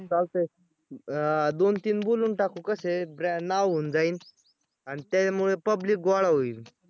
चालतंय अं दोन तीन बोलून टाकू कसे आहेत नाव होऊन जाईन आणि त्याच्यामुळे public गोळा होईल.